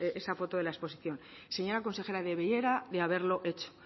esa foto de la exposición señora consejera debiera de haberlo hecho